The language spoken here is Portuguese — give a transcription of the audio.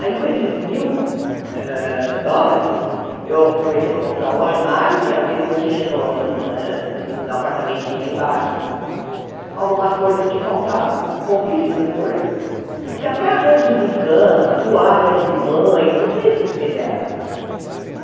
Aí, com esses mil hã dólares, eu aproveitei para comprar um armário, que é o que não tinha no hã no apartamentinho lá embaixo, algumas coisas que faltavam, pouquíssimas coisas, porque até arranjos de cama, toalhas de banho, tudo isso eles me deram.